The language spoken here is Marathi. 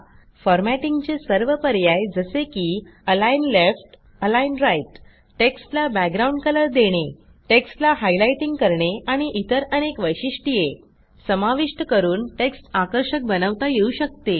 फॉरमॅटिंगचे सर्व पर्याय जसे की अलिग्न लेफ्ट अलिग्न राइट टेक्स्टला बॅकग्राउंड Colorदेणे टेक्स्टला हायलाइटिंग करणे आणि इतर अनेक वैशिष्ट्ये समाविष्ट करून टेक्स्ट आकर्षक बनवता येऊ शकते